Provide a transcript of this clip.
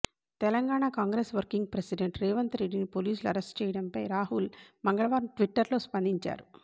Telangana Congress working president రేవంత్రెడ్డిని పోలీసులు arrest చేయడంపై రాహుల్ మంగళవారం ట్వీట్టర్లో స్పందించారు